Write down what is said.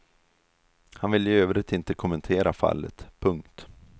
Han vill i övrigt inte kommentera fallet. punkt